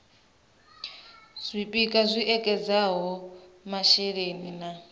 zwipia zwi ekedzaho masheleni na